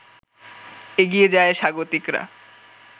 এগিয়ে যায় স্বাগতিকরা